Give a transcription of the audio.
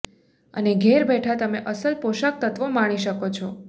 અને ઘેરબેઠા તમે અસલ પોષક તત્વો માણી શકો છો